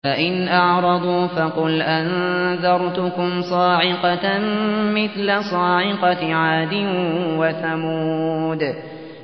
فَإِنْ أَعْرَضُوا فَقُلْ أَنذَرْتُكُمْ صَاعِقَةً مِّثْلَ صَاعِقَةِ عَادٍ وَثَمُودَ